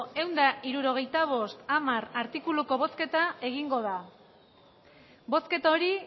eunda irurogeitabost amar artikuluko bozketa egingo da bozketa hori